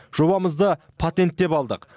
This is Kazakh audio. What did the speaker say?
жобамызды патенттеп алдық